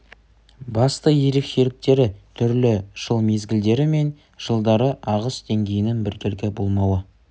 басты ерекшеліктері түрлі жыл мезгілдері мен жылдары ағыс деңгейінің біркелкі болмауы